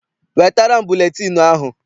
Wetara m buletịịnụ ahụ!